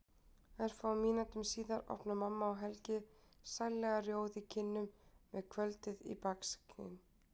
Örfáum mínútum síðar opna mamma og Helgi, sællega rjóð í kinnum með kvöldið í baksýn.